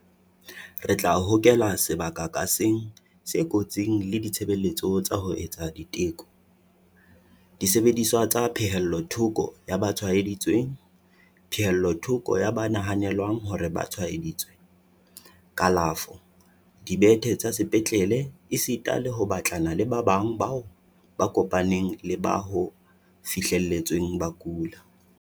Re tla hokela sebaka ka seng se kotsing le ditshebeletso tsa ho etsa diteko, disebediswa tsa pehellothoko ya ba tshwaeditsweng, pehellothoko ya ba nahanelwang hore ba tshwae-ditswe, kalafo, dibethe tsa sepetlele esita le ho batlana le ba bang bao ba kopaneng le ba ho fihletsweng ba kula.